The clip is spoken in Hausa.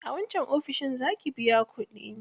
A wancan ofishin za ki biya kuɗi.